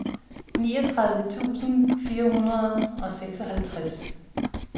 niogtredive tusind fire hundrede og seksoghalvtreds